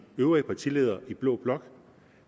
gang